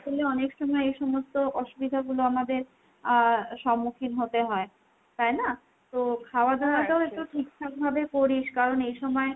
আসলে অনেক সময় এ সমস্ত অসুবিধাগুলো আমাদের আহ সম্মুখীন হতে হয়। তাই না ? তো খায়াদাওয়াটাও একটু ঠিকঠাক ভাবে করিস।